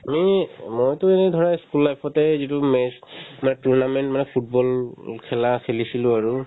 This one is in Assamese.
আমি মইতো এনে ধৰা school life তে যিটো match তোমাৰ tournament মানে football খেলা খেলিছিলো আৰু